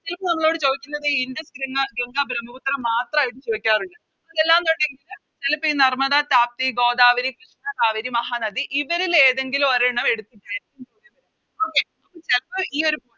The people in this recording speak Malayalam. ഇപ്പൊ നമ്മളോട് ചോദിക്കുന്നത് ഇൻഡസ് ഗംഗ ഗംഗ ബ്രമ്മപുത്ര മാത്രായിട്ട് ചോയിക്കാറുണ്ട് അതല്ലാന്നൊണ്ടെങ്കില് ചെലപ്പോയി നർമ്മദ താപ്തി ഗോദാവരി കൃഷ്ണ കാവേരി മഹാനദി ഇവരിലേതെങ്കിലും ഒരെണ്ണം എടുത്തിട്ടായിരിക്കും ചോദിക്കുന്നത് Okay ചെലപ്പോ ഈയൊരു